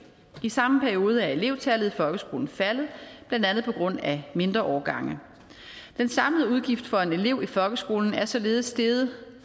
i samme periode er elevtallet i folkeskolen faldet blandt andet på grund af mindre årgange den samlede udgift for en elev i folkeskolen er således steget